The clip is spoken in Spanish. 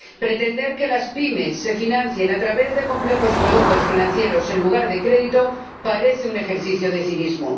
Pretender que las pymes se financien a través de complejos productos financieros, en lugar de crédito, parece un ejercicio de cinismo.